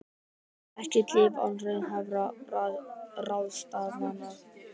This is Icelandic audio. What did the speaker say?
Ekkert líf án raunhæfra ráðstafana